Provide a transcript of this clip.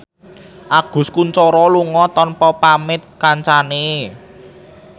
Agus Kuncoro lunga tanpa pamit kancane